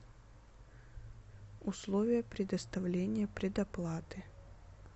условия предоставления предоплаты